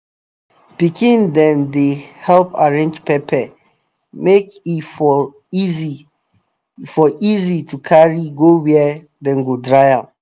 pikin dem dey help arrange pepper make e for easy e for easy to carry go where dem go dry am